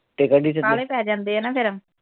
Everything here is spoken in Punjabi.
ਕਾਹਲੇ ਪੈ ਜਾਂਦੇ ਆ ਨਾ ਫਿਰ